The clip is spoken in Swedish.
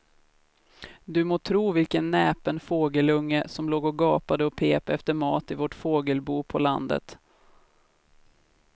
Du må tro vilken näpen fågelunge som låg och gapade och pep efter mat i vårt fågelbo på landet.